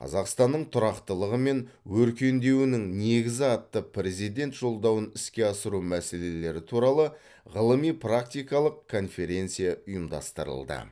қазақстанның тұрақтылығы мен өркендеуінің негізі атты президент жолдауын іске асыру мәселелері туралы ғылыми практикалық конференция ұйымдастырылды